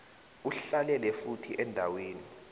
uhlalele futhi endaweni